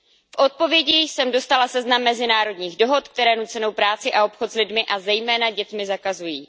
V odpovědi jsem dostala seznam mezinárodních dohod, které nucenou práci a obchod s lidmi, a zejména dětmi zakazují.